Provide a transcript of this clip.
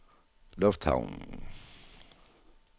lufthavnen